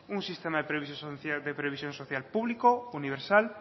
un sistema de previsión social público universal